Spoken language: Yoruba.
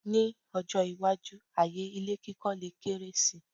Ní ọjọ́-iwájú, ààyè ilé kíkọ́ lè kéré si.